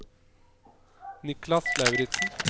Niklas Lauritzen